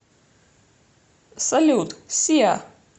салют сиа